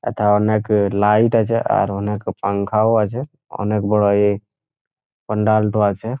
এথা অনেক এ লাইট আছে আর অনেক পাংখা ও আছে অনেক বড় এ প্যান্ডাল টো আছে।